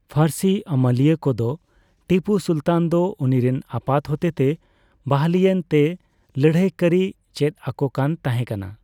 ᱯᱷᱟᱹᱨᱥᱤ ᱟᱹᱢᱟᱹᱞᱤᱭᱟᱹᱠᱚ ᱫᱚ ᱴᱤᱯᱩ ᱥᱩᱞᱛᱟᱱ ᱫᱚ ᱩᱱᱤᱨᱮᱱ ᱟᱯᱟᱛ ᱦᱚᱛᱮᱛᱮ ᱵᱟᱹᱦᱞᱤᱭᱮᱱ ᱛᱮ ᱞᱟᱹᱲᱦᱟᱹᱭ ᱠᱟᱨᱤᱭ ᱪᱮᱛᱟᱠᱚᱠᱟᱱ ᱛᱟᱦᱮᱠᱟᱱᱟ ᱾